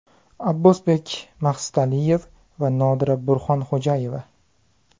Abbosbek Maxsitaliyev va Nodira Burxonxo‘jayeva.